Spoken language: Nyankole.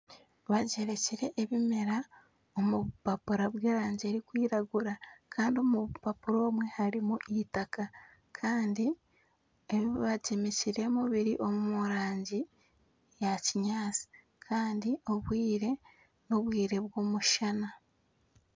Bagyemekire ebimera omu bupapura bw'erangi erikwiragura kandi omu bupapura obwe harimu eitaka. Kandi ebi bagyemekiremu biri omu rangi eya kinyaatsi kandi obwire n'obwire bw'omushana.